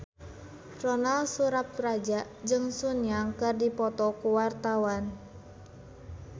Ronal Surapradja jeung Sun Yang keur dipoto ku wartawan